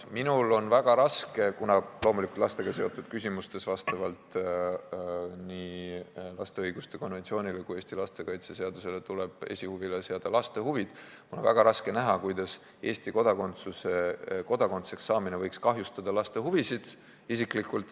Minul isiklikult on väga raske näha – kuna lastega seotud küsimustes tuleb vastavalt nii lapse õiguste konventsioonile kui ka Eesti lastekaitseseadusele seada esikohale laste huvid –, kuidas Eesti kodanikuks saamine võiks kahjustada laste huvisid.